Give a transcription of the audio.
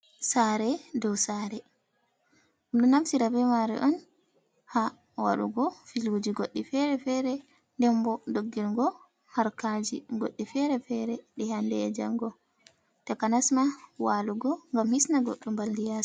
Sare dou sare ɗum ɗo naftira be mare on ha waɗugo filuji goɗɗi fere-fere. Nden bo, doggingo harkaji goɗɗi fere-fere ɗi hande e'jango takanas ma walugo ngam hisna goɗɗo mbaldi yasi.